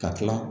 Ka tila